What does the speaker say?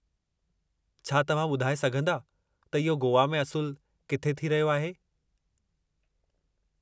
छा तव्हां ॿुधाए सघंदा त इहो गोवा में असुलु किथे थी रहियो आहे?